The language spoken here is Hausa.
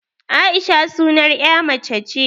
Aisha sunar 'ya mace ce